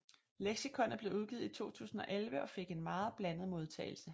Leksikonet blev udgivet i 2011 og fik en meget blandet modtagelse